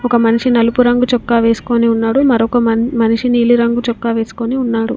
ఒక మనిషి నలుపు రంగు చొక్కా వేసుకొని ఉన్నాడు. మరొక మన్-మనిషి నీలి రంగు చొక్కా వేసుకొని ఉన్నాడు.